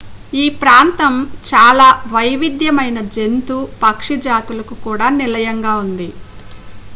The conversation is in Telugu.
ఈ ప్రాంతం చాలా వైవిధ్యమైన జంతు పక్షి జాతులకు కూడా నిలయంగా ఉంది